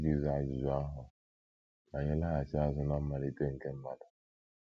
Iji zaa ajụjụ ahụ, ka anyị laghachi azụ ná mmalite nke mmadụ.